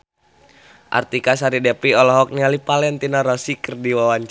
Artika Sari Devi olohok ningali Valentino Rossi keur diwawancara